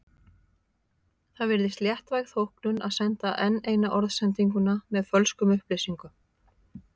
Það virðist léttvæg þóknun að senda enn eina orðsendinguna með fölskum upplýsingum.